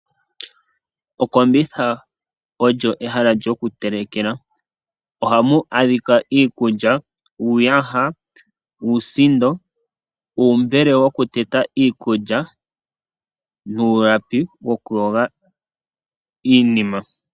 Okombitha olyo ehala lyoku telekela ohamu adhika iikulya, uuyha, uusindo, uumbele woku teta iikulya nulapi woku yoga iinima.